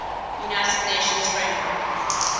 united nations framework